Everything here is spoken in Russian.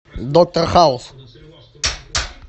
доктор хаус